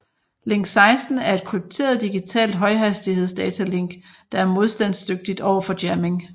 Link 16 er et krypteret digitalt højhastighedsdatalink der er modstandsdygtigt overfor jamming